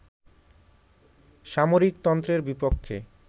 সামরিকতন্ত্রের বিপক্ষে